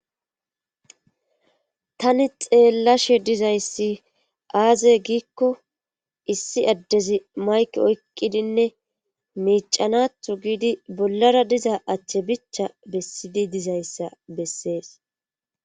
Tani xeellashe dizayssi aaze giikko issi addezi mayke oykqidinne miicanathu giidi bollara diza achche bicha bessidi dizayssa bessees.